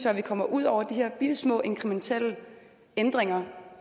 at vi kommer ud over de her bittesmå inkrementelle ændringer